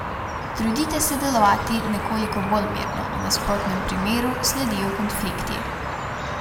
Trudite se delovati nekoliko bolj mirno, v nasprotnem primeru sledijo konflikti.